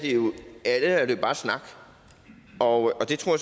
er det jo bare snak og det tror